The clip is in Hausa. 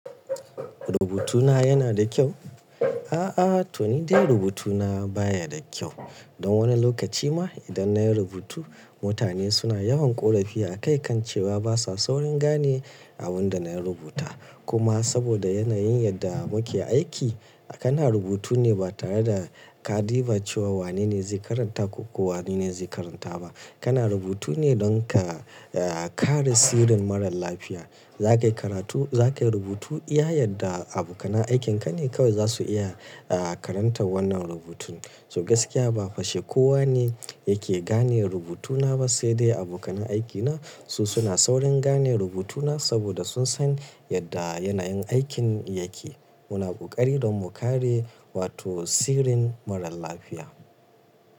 Rubutuna yana da kyau? A'a, to ni dai rubutuna baya da kyau. Don wani lokaci ma idan nayi rubutu mutane suna yawan ƙorafi a kai kan cewa basa saurin gane abin da na rubuta. Kuma saboda yanayin yadda muke aiki, kana rubutu ne ba tare da ka diba cewa wanene zai karanta ko wanene zai karanta ba. Kana rubutu ne don ka, eh, kare sirrin marar lafiya. Za ka yi karatu-- za ka yi rubutu iya yadda abokanan aikinka ne kawai zasu iya, eh, karanta wannan rubutun. So gaskiya ba fashe kowa ne yake gane rubutuna ba, sai dai abokanan aikina. Su suna saurin gane rubutuna saboda sun san yadda yanayin aikin yake. Muna koƙari don mu kare, wato sirrin marar lafiya.